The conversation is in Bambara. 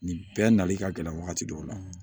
Nin bɛɛ nali ka gɛlɛn wagati dɔw la